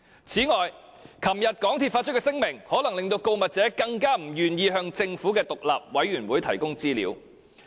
此外，港鐵公司昨天發出的聲明，可能令告密者更不願意向政府的獨立調查委員會提供資料。